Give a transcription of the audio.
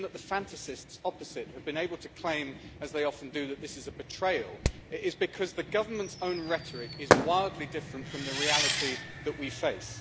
The reason that the fantasists opposite have been able to claim, as they often do, that this is a betrayal, is because the government's own rhetoric is wildly different from the reality that we face.